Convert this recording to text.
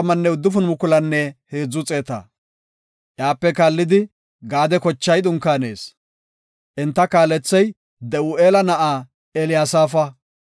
Iyape kaallidi Gaade kochay dunkaanees. Enta kaalethey De7u7eela na7aa Eliyasaafa.